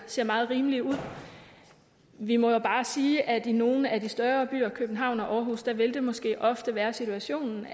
ser meget rimelige ud vi må jo bare sige at i nogle af de større byer københavn og århus vil det måske ofte være situationen